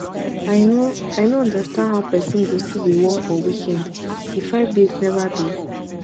i no i no understand how person go still dey work for weekend the five days never do